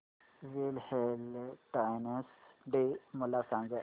Valentine's Day मला सांग